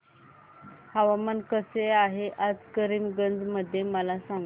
हवामान कसे आहे आज करीमगंज मध्ये मला सांगा